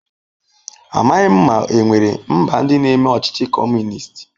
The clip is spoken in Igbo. Amaghị m ma e nwere mba ndị na-eme ọchịchị Kọmunist.